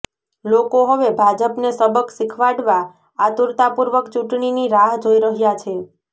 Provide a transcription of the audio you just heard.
લોકો હવે ભાજપને સબક શીખવાડવા આતુરતાપૂર્વક ચૂંટણીની રાહ જોઈ રહ્યા છે